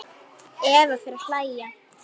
Eva fer að hlæja.